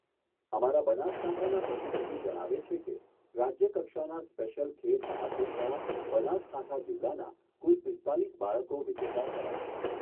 અમારા બનાસકાંઠાના પ્રતિનિધિ જણાવે છે કે, રાજ્યકક્ષાના સ્પેશ્યલ ખેલ મહાકુંભમાં બનાસકાંઠા જિલ્લાના કુલ પીસ્તાલીસ બાળકો વિજેતા થયા છે.